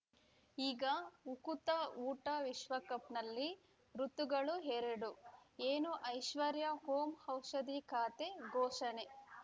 ಈಗ ಉಕುತ ಊಟ ವಿಶ್ವಕಪ್‌ನಲ್ಲಿ ಋತುಗಳು ಎರಡು ಏನು ಐಶ್ವರ್ಯಾ ಓಂ ಔಷಧಿ ಖಾತೆ ಘೋಷಣೆ